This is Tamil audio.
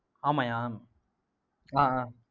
ஆமாய்யா ஆஹ் ஆஹ்